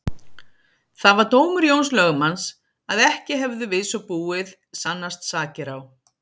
Það var dómur Jóns lögmanns að ekki hefðu við svo búið sannast sakir á